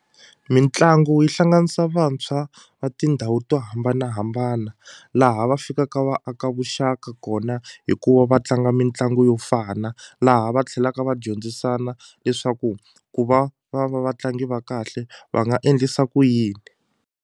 Mitlangu yi hlanganisa vantshwa va tindhawu to hambanahambana laha va fikaka va aka vuxaka kona hikuva va tlanga mitlangu yo fana laha va tlhelaka va dyondzisana leswaku ku va va va vatlangi va kahle va nga endlisa ku yini.